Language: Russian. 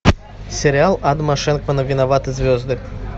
сериал адама шенкмана виноваты звезды